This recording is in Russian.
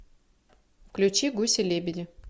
включи гуси лебеди